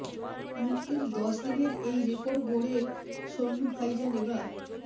মুক্তি দশ দিনের এই রেকর্ড গড়ে সল্লু ভাইজান এবার